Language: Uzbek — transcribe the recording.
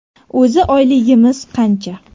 O‘zi oyligimiz qancha?